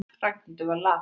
Ragnhildur var lafhrædd.